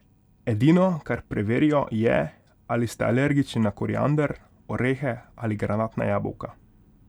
Edino, kar preverijo, je, ali ste alergični na koriander, orehe ali granatna jabolka.